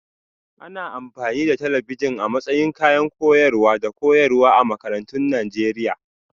Ana amfani da talabijin a matsayin kayan koyarwa da koyarwa a makarantun Najeriya